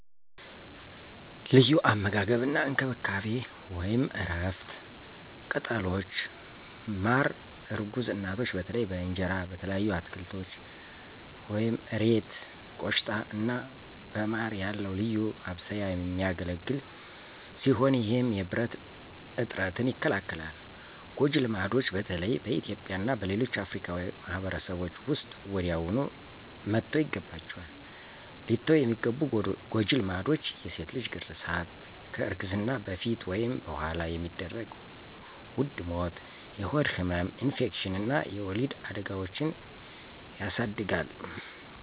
ለዩ አመጋገብ አና እንከብካቤ(እረፍት፣ ቅጠሎች፣ ማረ እርጉዝ እናቶች በተለይ በእንጀራ፣ በተለያዩ አትከልቶች (እሬት፣ ቆሽታ )አና በማረ ያለዉ ልዩ ማብሰያ የሚገለግል ሲሆነ ይህም የብረት እጥረትን ይከላከላል። ጎጀ ልማድች በተለይም በእትዩጵያ እና በሌሎች አፍርካዊ ማህበርሰቦች ዉስጥ ወዲያውኑ መተውይገባችዋል። ሊተዉ የሚገቡ ጎጂ ልማዶች የሴት ልጅ ግራዛት (FGM) ከእርግዝና በፈት ወይም በኋላ የሚደረግ ዉድ ሞት፣ የሆድ ህመም፣ ኢንፌክሽን አና የወሊድ አዳጋዎችን የስድጋል